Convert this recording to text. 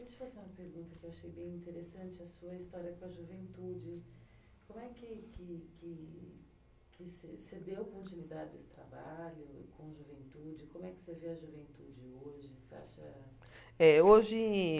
Deixa eu fazer uma pergunta que eu achei bem interessante, a sua história com a juventude. Como é que que que que você deu continuidade a esse trabalho com a juventide como você vê a juventude hoje você acha Eh hoje